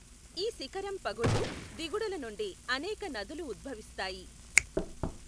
ఈ శిఖరం పగుళ్లు, దిగుడుల నుండి అనేక నదులు ఉద్భవిస్తాయి.